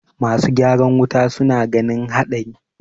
masu ygaran wuta suna ganin haɗari